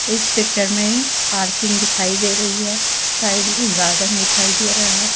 इस पिक्चर में पार्किंग दिखाई दे रही है साइड में गार्डन दिखाई दे रहा है।